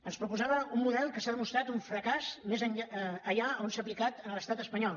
ens proposava un model que s’ha demostrat un fracàs allà on s’ha aplicat a l’estat espanyol